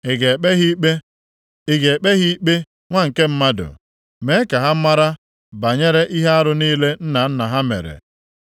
“Ị ga-ekpe ha ikpe? Ị ga-ekpe ha ikpe, nwa nke mmadụ? Mee ka ha mara banyere ihe arụ niile nna nna ha mere.